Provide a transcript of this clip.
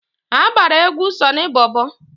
Ha gbara egwu Sọnị Bọbọ.